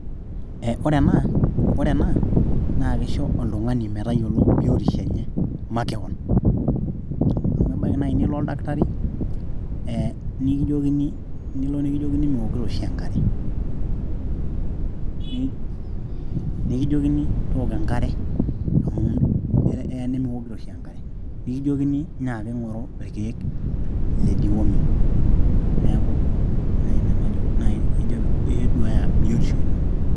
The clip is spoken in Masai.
ore ena..ore ena naa kisho oltung`ani metayiolo biotisho enye makewon, amu ebaiki naaji nio oldaktari nilo nikijokini miwokito oshi enkare nekijokini tooko enkare amu eya nemiwokito oshi enkare, nikijokini nyaaki ng`oru irkeek le deworming neeku ine naaji waajo piiduaya biotisho ino.